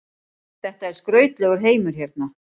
Þetta er skrautlegur heimur hérna.